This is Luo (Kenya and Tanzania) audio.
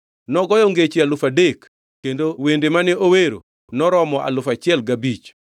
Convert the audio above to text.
Nogoyo ngeche alufu adek kendo wende mane owero noromo alufu achiel gi abich.